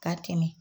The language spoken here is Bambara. Ka tɛmɛ